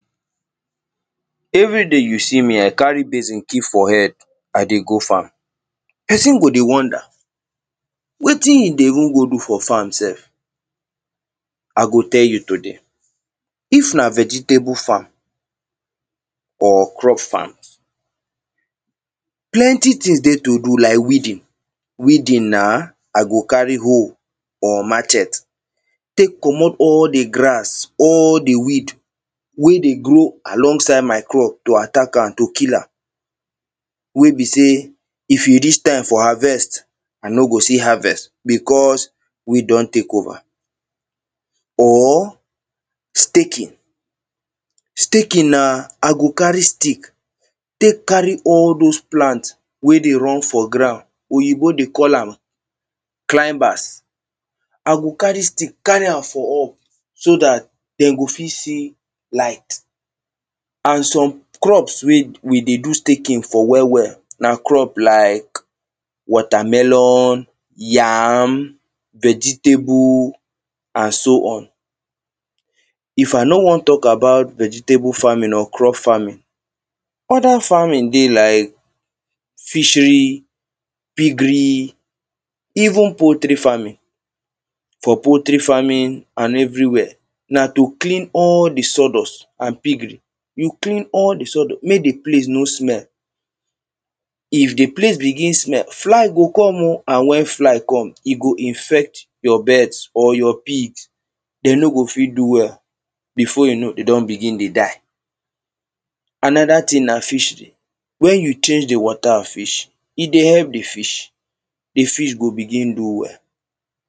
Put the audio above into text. Everyday you see me I carry basin keep for head I dey go farm. Person go dey wonder wetin he dey even go do for farm sef? I go tell you today, if na vegetable farm, or crop farm, plenty things dey to do, lak weeding. Weeding na I go carry hoe or machet tek commot all the grass, all the weed. wey dey grow alongside my crop, to attack am, to kill am. Wey be say if e reach time for harvest, I no go see harvest because weed don tek over. or staking Staking na I go carry stick tek carry all those plant wey dey run for ground. Oyinbo dey call am clambas I go carry stick, carry am for up so dat them go fit see light. And some crops wey we dey do staking for well, well, na crop lak watermelon, yam, vegetable and so on. If I no wan talk about vegetable farming, or crop farming, other farming dey lak fishery, piggery even poultry farming. For poultry farming and everywhere, na to clean all the sawdust and piggery. You clean all the sawdust, mek the place no smell. If the place begin smell, fly go come o. And when fly come, e go infect your beds or your pigs. Them no go fit do well, before you know, them don begin dey die. Another thing na fishery, when you change the water of fish, e dey help the fish. The fish go begin do well.